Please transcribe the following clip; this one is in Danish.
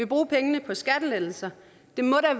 bruge pengene på skattelettelser